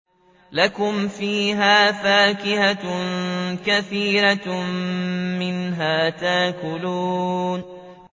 لَكُمْ فِيهَا فَاكِهَةٌ كَثِيرَةٌ مِّنْهَا تَأْكُلُونَ